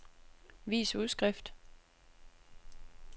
vis udskrift